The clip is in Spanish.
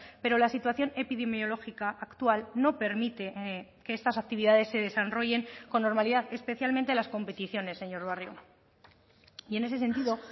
pero la situación epidemiológica actual no permite que estas actividades se desarrollen con normalidad especialmente las competiciones señor barrio y en ese sentido